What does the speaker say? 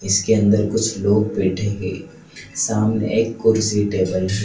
इसके अंदर कुछ लोग बैठे हुए है सामने एक कुर्सी टेबल --